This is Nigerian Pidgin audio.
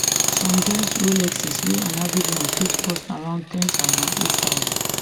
some get rolexes wey an average one fit cost around ten thousand eight thousand